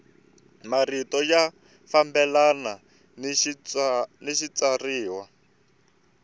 marito ya fambelana ni xitshuriwa